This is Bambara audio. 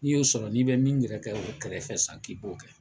N'i y'o sɔrɔ n'i bɛ min yɛrɛ kɛ o kɛrɛfɛ sa k'i b'o kɛ.